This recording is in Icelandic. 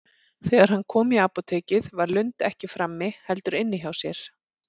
Þegar hann kom í apótekið var Lund ekki frammi, heldur inni hjá sér.